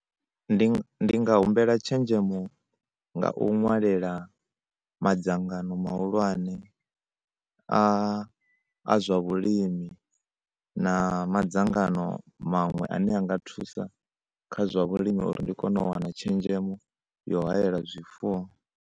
Ndi ndi nga humbela tshenzhemo nga u ṅwalela madzangano mahulwane a a zwa vhulimi na madzangano maṅwe ane a nga thusa kha zwa vhulimi uri ndi kone u wana tshenzhemo yo haela zwifuwo.